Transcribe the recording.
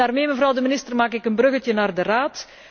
Daarmee, mevrouw de minister, maak ik een bruggetje naar de Raad.